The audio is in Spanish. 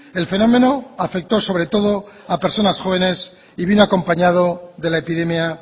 el fenómeno afectó sobre todo a personas jóvenes y vino acompañado de la epidemia